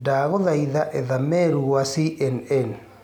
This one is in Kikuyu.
ndagũthaĩtha etha meeru gwa c.n.n